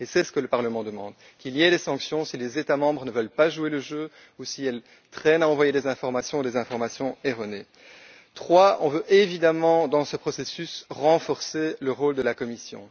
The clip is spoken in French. Et c'est ce que le Parlement demande, qu'il y ait des sanctions si les États membres ne veulent pas jouer le jeu, ou s'ils traînent à envoyer des informations ou encore envoient des informations erronées. Troisièmement, on veut évidemment, dans ce processus, renforcer le rôle de la Commission.